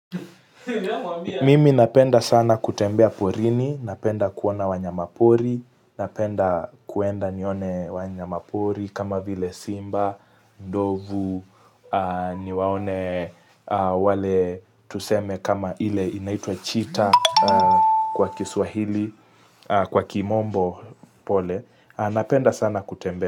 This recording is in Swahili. Mimi napenda sana kutembea porini, napenda kuona wanyamapori, napenda kwenda nione wanyamapori kama vile simba, ndovu, niwaone wale tuseme kama ile inaitwa chita kwa kiswahili, kwa kimombo pole, napenda sana kutembea.